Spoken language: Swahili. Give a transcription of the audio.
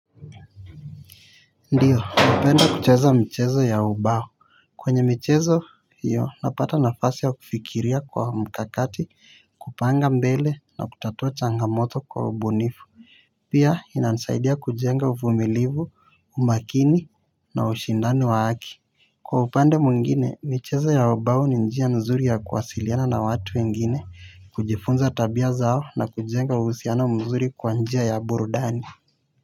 Ndiyo napenda kucheza mchezo ya ubao. Kwenye michezo hiyo napata nafasi ya kufikiria kwa mkakati kupanga mbele na kutatua changamoto kwa ubunifu. Pia inasaidia kujenga uvumilivu umakini na ushindani wa aki. Kwa upande mwingine michezo ya ubao ni njia nzuri ya kuwasiliana na watu wengine kujifunza tabia zao na kujenga uhusiana mzuri kwa njia ya burudani.